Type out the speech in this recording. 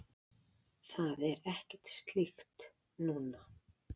Það er ekkert slíkt núna.